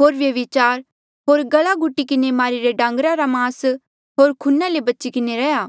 होर व्यभिचार होर गला घुटी किन्हें मारिरे डांगरे रा मास होर खूना ले बच्ची किन्हें रहे